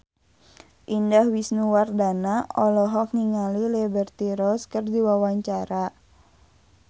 Indah Wisnuwardana olohok ningali Liberty Ross keur diwawancara